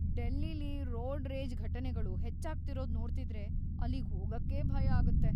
ಡೆಲ್ಲಿಲಿ road rage ಘಟನೆಗಳು ಹೆಚ್ಚಾಗ್ತಿರೋದ್‌ ನೋಡ್ತಿದ್ರೆ ಅಲ್ಲಿಗ್‌ ಹೋಗಕ್ಕೇ ಭಯ ಆಗತ್ತೆ.